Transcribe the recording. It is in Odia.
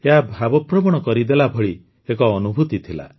ଏହା ଭାବପ୍ରବଣ କରିଦେଲା ଭଳି ଏକ ଅନୁଭୂତି ଥିଲା